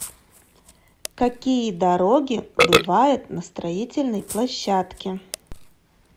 какие дороги бывают на строительной площадке